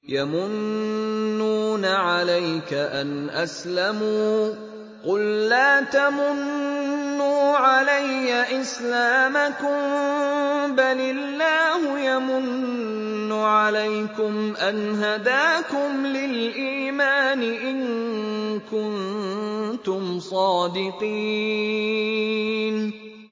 يَمُنُّونَ عَلَيْكَ أَنْ أَسْلَمُوا ۖ قُل لَّا تَمُنُّوا عَلَيَّ إِسْلَامَكُم ۖ بَلِ اللَّهُ يَمُنُّ عَلَيْكُمْ أَنْ هَدَاكُمْ لِلْإِيمَانِ إِن كُنتُمْ صَادِقِينَ